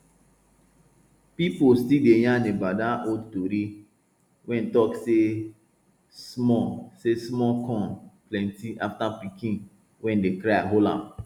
people still dey yarn about dat old tori wey talk say small say small corn plenty afta pikin wey dey cry hold am